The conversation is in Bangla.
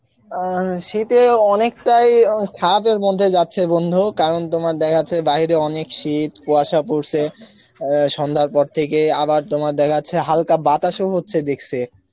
আহ শীতে অনেকটাই আহ খারাপ এর মধ্যে যাচ্ছে বন্ধু কারণ তোমার দেখা যাচ্ছে বাইরে অনেক শীত কুয়াশা পরসে আ সন্ধার পর থেকে আবার তোমার দেখা জাস্সে হল্কা বাতাস ও হস্সে দেকসি